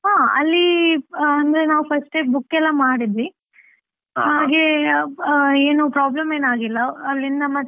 ಹ, ಅಲ್ಲಿ ಅಂದ್ರೆ ನಾವು first ಏ book ಎಲ್ಲ ಮಾಡಿದ್ವಿ, ಹಾಗೆ ಏನು problem ಏನು ಆಗ್ಲಿಲ್ಲ, ಅಲ್ಲಿಂದ ಮತ್ತೆ.